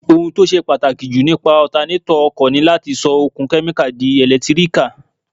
Ohun tó ṣe pàtàkì jù nípa ọtanétọ̀ ọkọ̀ ni láti sọ okun kẹ́míkà di ẹ̀lẹ́tíríkà